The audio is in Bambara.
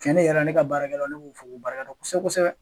Ciɲɛni yɛrɛ ne ka barakɛla'ne bu fo ku barikada kosɛbɛ kosɛbɛ.